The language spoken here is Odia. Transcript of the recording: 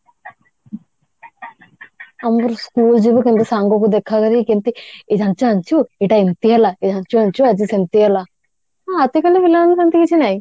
ଆମ ବେଳେ school ଯିବୁ କେମିତି ସାଙ୍ଗକୁ ଦେଖାକରିକି କେମିତି ଏଇ ଜାଣିଛୁ ଜାଣିଛୁ ଏଇଟା ଏମତି ହେଲା ଏଇ ଜାଣିଛୁ ଜାଣିଛୁ ଆଜି ସେମତି ହେଲା ହଁ କିନ୍ତୁ ସେମତି କିଛି ନାହିଁ